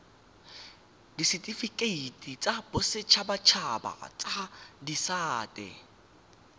ditifikeiti tsa boditshabatshaba tsa disata